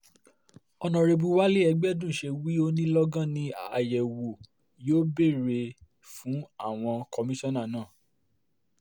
ọ̀nàrẹ́bù wálé ẹgbẹ̀dún ṣe wí ó ní lọ́gán ni àyẹ̀wò yóò bẹ̀rẹ̀ fún àwọn kọmíṣánná náà